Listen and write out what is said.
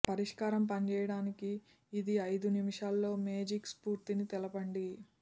పరిష్కారం పనిచేయడానికి ఇది ఐదు నిమిషాల్లో మేజిక్ స్ఫూర్తిని తెలపండి